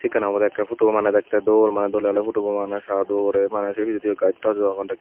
sekkin obode ekke photo bu mane dekte dol mane dole dale photo bu mane sa dol se pijediu gaj taj u agon.